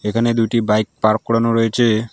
এখানে দুইটি bike park করানো রয়েছে।